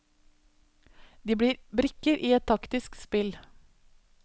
De blir brikker i et taktisk spill.